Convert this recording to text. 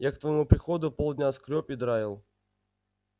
я к твоему приходу полдня скрёб и драил